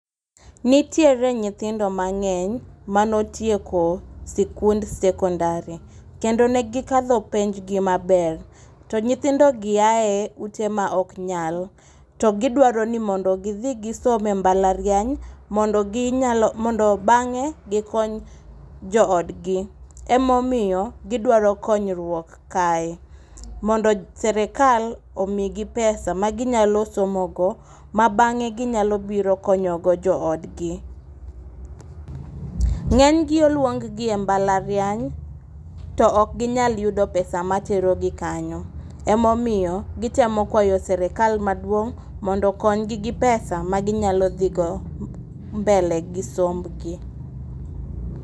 Nitiere nyithindo mangény manotieko sikund secondary kendo negikadho penj gi maber. To nyithindogi ae ute ma ok nyal, to gidwaro ni mondo gidhi gisom e mbalariany, mondo ginyalo, mondo bangé gikony joodgi. Ema omiyo gidwaro konyruok kae. Mondo sirkal omi gi pesa ma ginyalo somo go ma bangé ginyalo biro konyo go joodgi. Ngény gi oluonggi e mbalariany, to okginyal yudo pesa matero gi kanyo. Ema omiyo gitemo kwayo sirkal maduong' mondo okonygi gi pesa ma ginyalo dhi go mbele gi sombgi.